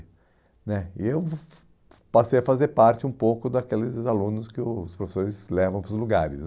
né e eu passei a fazer parte um pouco daqueles alunos que os professores levam para os lugares